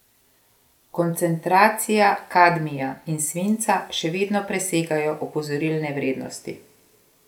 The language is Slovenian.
Koncentracije kadmija in svinca še vedno presegajo opozorilne vrednosti.